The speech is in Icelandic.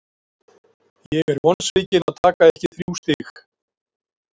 Ég er vonsvikinn að taka ekki þrjú stig.